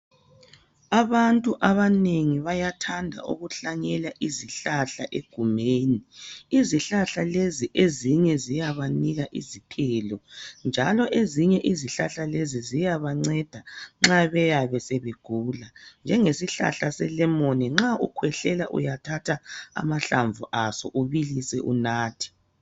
Abantu abanengi bayathanda ukuhlanyela izihlahla egumeni. Izihlahla lezi ezinye ziyabanika isithelo njalo ezinye ziyanceda nxa beyabe sebegula njengesihlahla selemoni nxa uyabe ukhwehlela uyathatha amahlamvu aso ubilise unathe.